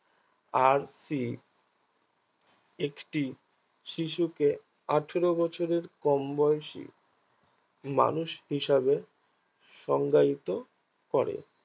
RC একটি শিশুকে আঠেরো বছরের কমবয়সী মানুষ হিসাবে সংগায়িত করে